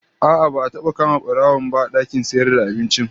A'a, ba'a taba kama barawon, ba a dakin sayarvda abincin